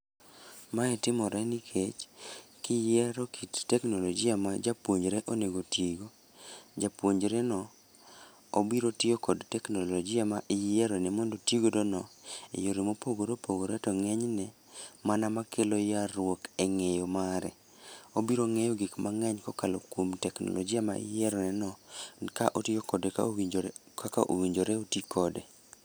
Mae timore nikech, kiyiero kit teknolojia ma japuonjre onego tigo japuonjre no obiro tiyo kod teknolojia ma iyierone mondo otigodo no. E yore mopogore opogore to ng'eny ne, mana makelo yar ruok e ng'eyo mare. Obiro ng'eyo gik mang'eny kokalo kuom teknolojia ma iyiero ne no. Ni ka otiyo kode ka owinjore kaka owinjore oti kode.